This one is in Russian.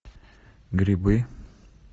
грибы